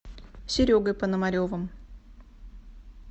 серегой пономаревым